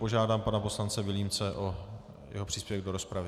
Požádám pana poslance Vilímce o jeho příspěvek do rozpravy.